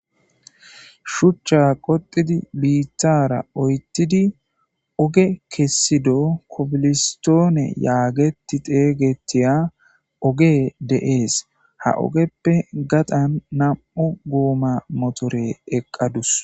shuchcha qoxidi biittara oyttidi oge kessido kobilistoone yaageti xeeygetiya oge de7ees ha ogeppe gaxan nam7u guuma motore eqqadus.